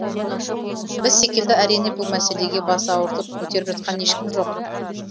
біз секілді әрине бұл мәселеге бас ауыртып көтеріп жатқан ешкім жоқ